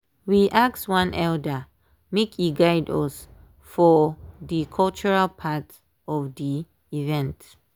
we ask one elder make e guide us for dey cultural part of dey event.